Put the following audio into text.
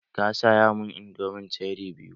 Ka saya mun indomin cheri biyu!